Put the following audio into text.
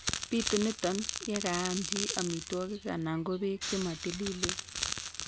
Bitu nitok yekaam chi amitwogik anan ko beek chematilileen